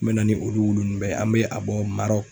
N me na ni olu wulu ninnu bɛɛ ye an bɛ a bɔ Marɔku